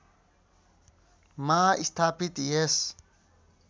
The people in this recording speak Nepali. मा स्थापित यस